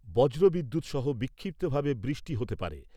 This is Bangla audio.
বজ্র বিদ্যুৎসহ বিক্ষিপ্তভাবে বৃষ্টি হতে পারে।